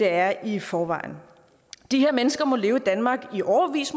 er i forvejen de her mennesker må leve i danmark i årevis